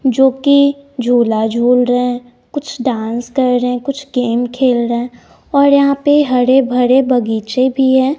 जो कि झूला झूल रहे कुछ डांस कर रहे कुछ गेम खेल रहे और यहां पे हरे-भरे बगीचे भी है।